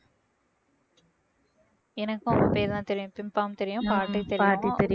எனக்கும் அவங்க பேரு தான் தெரியும் pimpom தெரியும் பாட்டி தெரியும்